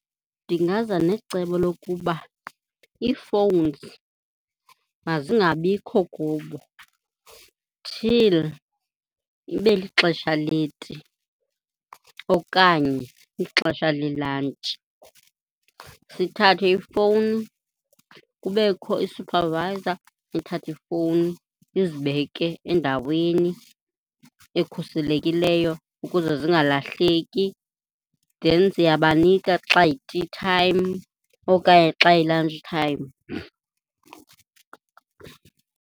Ndingaza necebo lokuba ii-phones mazingabikho kubo till ibe lixesha leti okanye ixesha lelantshi. Sithathe iifowuni, kubekho isuphavayiza ithathe iifowuni izibeke endaweni ekhuselekileyo ukuze zingalahleki. Then siyabanika xa iyi-tea time okanye xa iyi-lunch time.